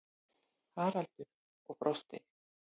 Haraldur og brosti.